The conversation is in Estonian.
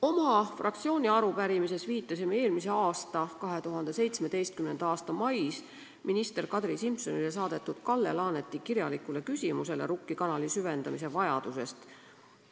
Oma fraktsiooni arupärimises viitasime 2017. aasta mais minister Kadri Simsonile saadetud Kalle Laaneti kirjalikule küsimusele Rukki kanali süvendamise vajaduse kohta.